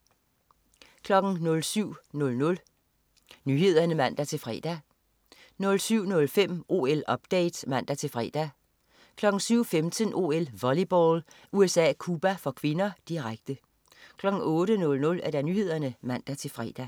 07.00 Nyhederne (man-fre) 07.05 OL-update (man-fre) 07.15 OL: Volleyball. USA-Cuba (k), direkte 08.00 Nyhederne (man-fre)